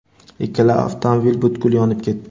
Ikkita avtomobil butkul yonib ketdi.